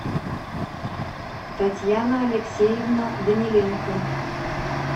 татьяна алексеевна даниленко